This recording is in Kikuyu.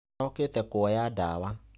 Araũkĩte kũoya ndawa.